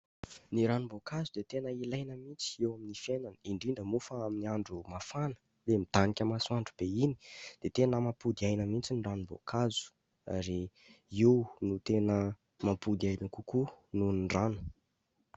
Ny ranom-boankazo dia tena ilaina mihitsy eo amin'ny fiainana ; indrindra moa fa amin'ny andro mafana ilay midanika masoandro be iny dia tena mampody aina mihitsy ny ranom-boankazo ary io no tena mampody aina kokoa noho ny rano.